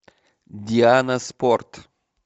диана спорт